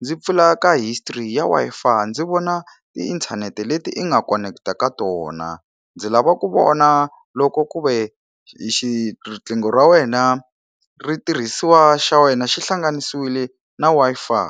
ndzi pfula ka history ya Wi-Fi ndzi vona tiinthanete leti i nga koneketa ka tona ndzi lava ku vona loko ku ve xi riqingho ra wena ri tirhisiwa xa wena xi hlanganisiwile na Wi-Fi.